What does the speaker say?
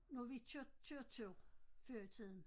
Når vi kørte kørte tog før i tiden